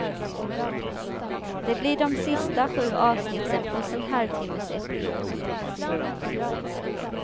Det blir de sista sju avsnitten plus en halvtimmes epilog.